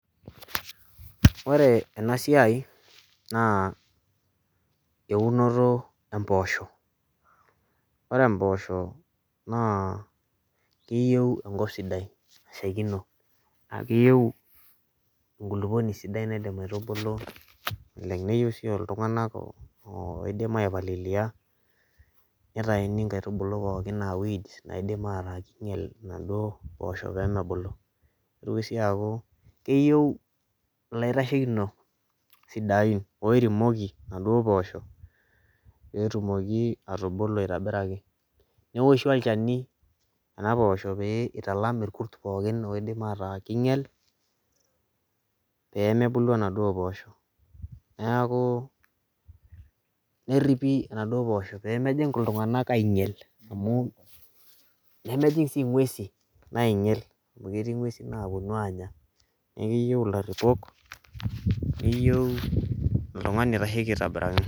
ore ena siia naa eunoto empoosho. ore empoosho naa keyieu enkop sidai. nashaikino. naa keyieu enkulupuoni sidai naidim aitubulu oleng. neyieu sii iltunganak ooidim aipalilia. nitayuni inkaitubulu pookin aa weed naidim aingial inaduoo poosho pee mebulu. nitoki siii aaku keyieu ilaitashekinok, sidain oremoki inaduoo poosho. pee etumoki atubulu aitobiraki. neeoshi olchani. nena poosho pee italam irkurt pookin oidim ataa keingiel, pee mebulu inaduoo poosho. neeku, neeripi inaduoo poosho pee mejing iltungank aingiel amu, nemejing sii inguesi naingiel, amu inguesi naapuonu aanya. neeku keyieu ilaripok neyieu oltungani oitasheki aitobiraki.